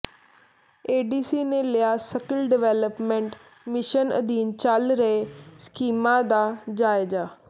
ADC ਨੇ ਲਿਆ skill development mission ਅਧੀਨ ਚੱਲ ਰਹੀਆਂ ਸਕੀਮਾਂ ਦਾ ਜਾਇਜ਼ਾ